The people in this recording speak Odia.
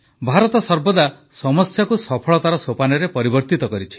ଭାରତ ସର୍ବଦା ସମସ୍ୟାକୁ ସଫଳତାର ସୋପାନରେ ପରିବର୍ତ୍ତିତ କରିଛି